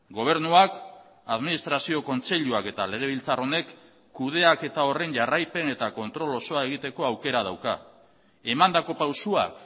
gobernuak administrazio kontseiluak eta legebiltzar honek kudeaketa horren jarraipen eta kontrol osoa egiteko aukera dauka emandako pausuak